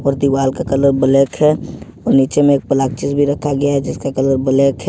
और दीवार का कलर ब्लैक है और नीचे में भी एक प्लास्टिक रखा गया है जिसका कलर ब्लैक है।